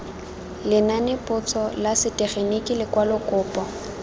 lenanepotso la setegeniki lekwalo kopo